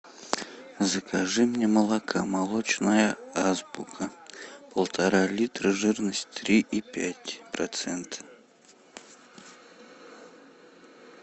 закажи мне молока молочная азбука полтора литра жирность три и пять процент